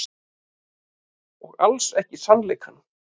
Og alls ekki sannleikann.